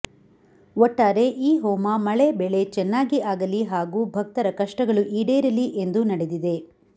ಒಟ್ಟಾರೆ ಈ ಹೋಮ ಮಳೆ ಬೆಳೆ ಚೆನ್ನಾಗಿ ಆಗಲಿ ಹಾಗೂ ಭಕ್ತರ ಕಷ್ಟಗಳು ಈಡೇರಲಿ ಎಂದು ನಡೆದಿದೆ